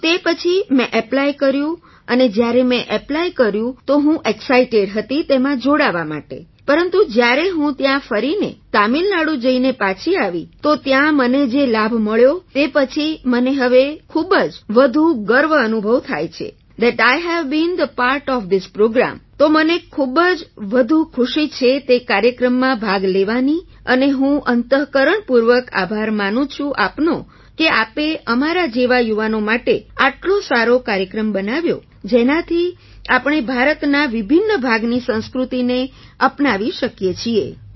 તો તે પછી મેં ઍપ્લાય કર્યું અને જ્યારે મેં ઍપ્લાય કર્યું તો હું ઍક્સાઇટેડ હતી તેમાં જોડાવા માટે પરંતુ જ્યારે હું ત્યાં ફરીને તમિલનાડુ જઈને પાછી આવી તો ત્યાં મને જે લાભ મળ્યો તે પછી મને હવે ખૂબ જ વધુ ગર્વ અનુભવ થાય છે that I have bin the part of this પ્રોગ્રામે તો મને ખૂબ જ વધુ ખુશી છે તે કાર્યક્રમમાં ભાગ લેવાની અને હું અંતઃકરણપૂર્વક આભાર માનું છું આપનો કે આપે અમારા જેવા યુવાનો માટે આટલો સારો કાર્યક્રમ બનાવ્યો જેનાથી આપણે ભારતના વિભિન્ન ભાગની સંસ્કૃતિને અપનાવી શકીએ છીએ